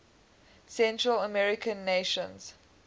central american nations